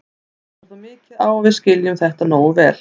Enn vantar þó mikið á að við skiljum þetta nógu vel.